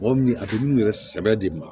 Mɔgɔ min a bɛ n'u yɛrɛ sɛbɛ de ma